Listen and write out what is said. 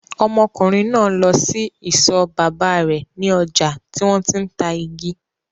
Ọmọkùnrin náà lọ sí isọ̀ bàbá rẹ̀ ní ọjà tí wọ́n ti ń ta igi.